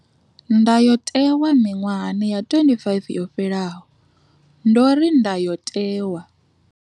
Ndayotewa miṅwahani ya 25 yo fhelaho, ndo ri Ndayotewa.